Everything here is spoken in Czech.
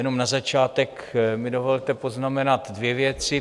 Jenom na začátek mi dovolte poznamenat dvě věci.